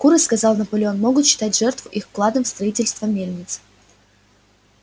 куры сказал наполеон могут считать жертву их вкладом в строительство мельницы